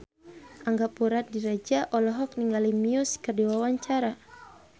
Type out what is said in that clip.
Angga Puradiredja olohok ningali Muse keur diwawancara